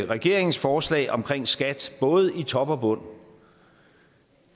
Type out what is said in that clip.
regeringens forslag om skat både i top og bund